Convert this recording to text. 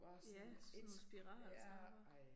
Ja sådan spiraltrapper